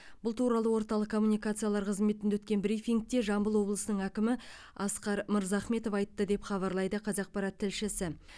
бұл туралы орталық коммуникациялар қызметінде өткен брифингте жамбыл облысының әкімі асқар мырзахметов айтты деп хабарлайды қазақпарат тілшісі